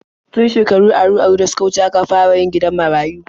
Tun shekaru aru-aru da suka wuce aka fara yin gidan marayu.